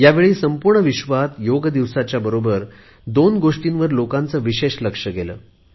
ह्यावेळी संपूर्ण विश्वात योगदिवसाच्या बरोबर दोन गोष्टींवर लोकांचे विशेष लक्ष गेले